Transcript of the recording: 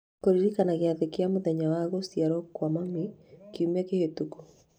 Kũririkana gĩathĩ kĩa mũthenya wa gũciarũo kwa mami kiumia kĩhĩtũku